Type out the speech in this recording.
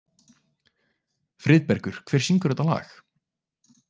Friðbergur, hver syngur þetta lag?